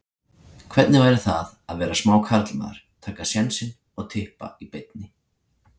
Hvernig væri það að vera smá karlmaður, taka sénsinn og Tippa í beinni?